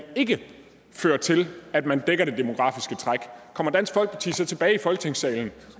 ikke fører til at man dækker det demografiske træk kommer dansk folkeparti så tilbage i folketingssalen